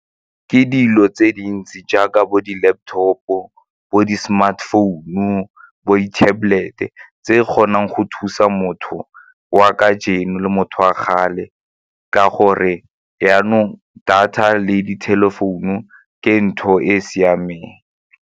Ke dilo tse dintsi jaaka bo di-laptop-o, bo di-smartphone-u, bo di-tablet-e tse e kgonang go thusa motho wa kajeno le motho wa kgale ka gore jaanong data le di-telephone-u ke ntho e e siameng.